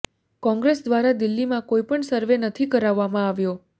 કોંગ્રેસ ઘ્વારા દિલ્હીમાં કોઈ પણ સર્વે નથી કરાવવામાં આવ્યો